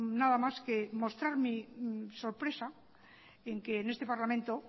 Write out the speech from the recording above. nada más que mostrar mi sorpresa en que este parlamento